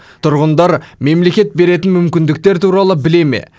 тұрғындар мемлекет беретін мүмкіндіктер туралы біле ме